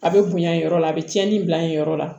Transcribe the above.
A bɛ bonya nin yɔrɔ la a bɛ tiɲɛni bila yen yɔrɔ la